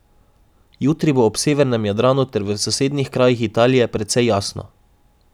Jutri bo ob severnem Jadranu ter v sosednjih krajih Italije precej jasno.